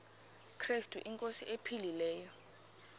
krestu inkosi ephilileyo